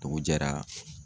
Dugu jɛra.